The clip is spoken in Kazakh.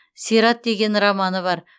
сират деген романы бар